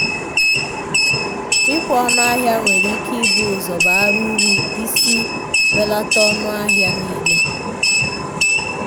ikwe onu ahia nwere ike ịbụ ụzọ bara uru isi belata ọnụahịa niile.